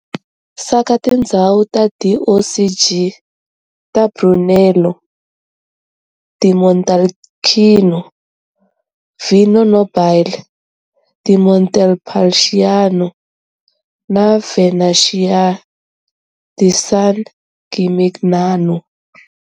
Saka tindzhawu ta DOCG ta Brunello di Montalcino, Vino Nobile di Montepulciano na Vernaccia di San Gimignano.